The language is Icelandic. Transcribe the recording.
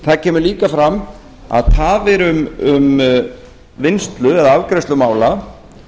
það kemur líka fram að tafir um vinnslu eða afgreiðslu mála